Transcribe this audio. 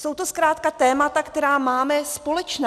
Jsou to zkrátka témata, která máme společná.